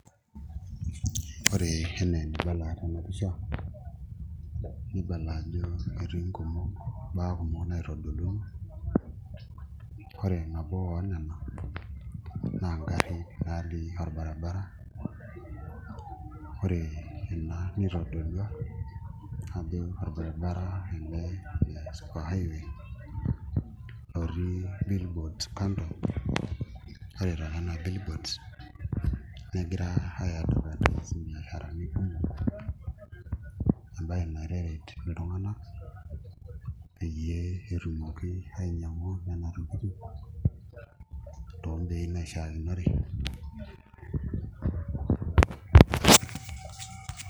Ore enaa enibala tena pisha nibala ajo etii mbaa kumok naitodoluaki ore nabo oonena naa ngarrin naatii orbaribara ore ina nitodolua ajo orbaribara ele le super highway lotii bilboards kando ore toonena bilboards negirai aiadvertise imbiasharani kumok emnaye naitaret iltung'anak peyie etumoki ainyiang'u nena tokitin toombeii naishiakinore.